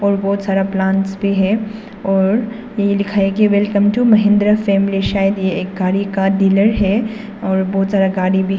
और बहुत सारा प्लांट्स भी है और यही लिखा है कि वेलकम टू महिंद्रा फैमिली शायद ये एक गाड़ी का डीलर है और बहुत सारा गाड़ी भी--